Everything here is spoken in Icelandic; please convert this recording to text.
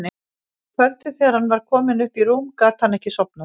Og um kvöldið þegar hann var kominn upp í rúm gat hann ekki sofnað.